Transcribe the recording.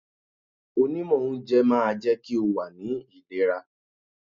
Onímọ̀ oúnjẹ máa jẹ́ kí o wà ní ìlera.